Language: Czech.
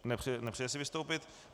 Nepřeje si vystoupit.